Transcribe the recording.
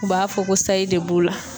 U b'a fɔ ko sayi de b'u la.